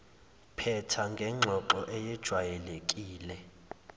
phetha ngengxoxo eyejwayelekile